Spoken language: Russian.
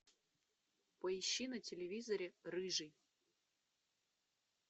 поищи на телевизоре рыжий